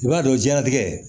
I b'a dɔn jiɲɛlatigɛ